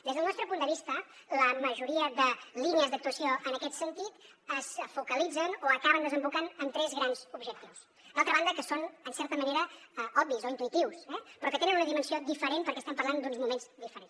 des del nostre punt de vista la majoria de línies d’actuació en aquest sentit es focalitzen o acaben desembocant en tres grans objectius d’altra banda que són en certa manera obvis o intuïtius eh però que tenen una dimensió diferent perquè estem parlant d’uns moments diferents